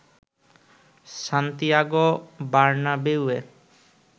Santiago বার্নাবেউয়ে